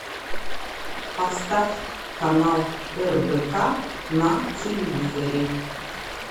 поставь канал рбк на телевизоре